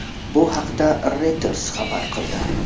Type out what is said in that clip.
Bu haqda Reuters xabar qildi .